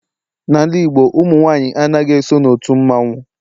N'ala Igbo ụmụ nwanyị anaghị eso n'otu mmanwu